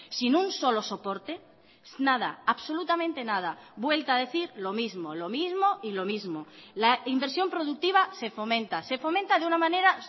sin un solo soporte nada absolutamente nada vuelta a decir lo mismo lo mismo y lo mismo la inversión productiva se fomenta se fomenta de una manera